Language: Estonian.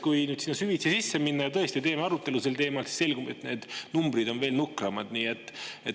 Kui sinna süvitsi sisse minna ja tõesti teeme arutelu sel teemal, siis tõenäoliselt selgub, et need numbrid on veel nukramad.